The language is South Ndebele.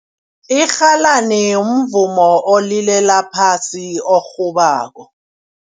Irhalani mvumo olila phasi orhabako.